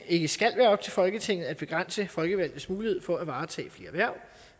ikke skal være op til folketinget at begrænse folkevalgtes mulighed for at varetage flere hverv